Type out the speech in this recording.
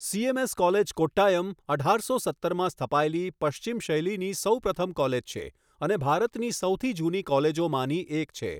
Cms college, Kottayam, અઢારસો સત્તરમાં સ્થપાયેલી, પશ્ચિમ શૈલીની સૌપ્રથમ કૉલેજ છે, અને ભારતની સૌથી જૂની કૉલેજોમાંની એક છે.